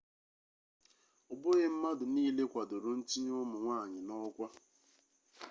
ọbụghị mmadụ niile kwadoro ntinye ụmụ nwanyị n'ọkwa